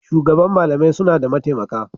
Shugaban malamai suna da mataimaka.